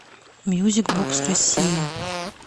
мьюзик бокс россия